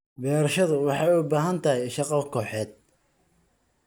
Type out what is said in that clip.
Beerashadu waxay u baahan tahay shaqo kooxeed.